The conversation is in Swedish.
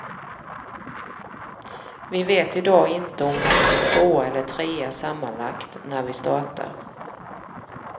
Vi vet i dag inte om vi ligger tvåa eller trea sammanlagt när vi startar.